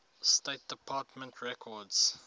state department records